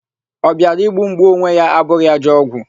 Ọ bịara igbu m, gbuo onwe ya abụghị ajọ ọgwụ.